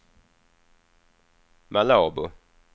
Malabo